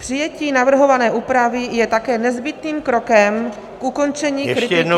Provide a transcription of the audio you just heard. Přijetí navrhované úpravy je také nezbytným krokem k ukončení kritiky za nečinnost -